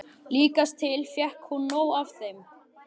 Líkast til fékk hún nóg af þeim.